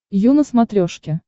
ю на смотрешке